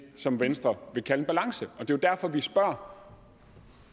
som venstre vil kalde en balance er jo derfor vi spørger